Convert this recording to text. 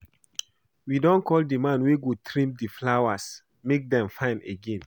We don call the man wey go trim the flowers make dem fine again